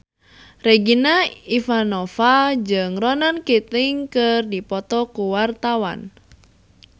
Regina Ivanova jeung Ronan Keating keur dipoto ku wartawan